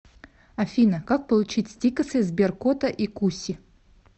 афина как получить стикосы сберкота и куси